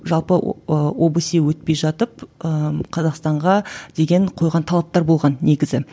жалпы ыыы обсе өтпей жатып ыыы қазақстанға деген қойған талаптар болған негізі